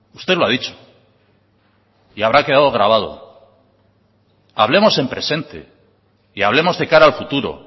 usted lo ha dicho y habrá quedado grabado hablemos en presente y hablemos de cara al futuro